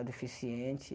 A deficiente.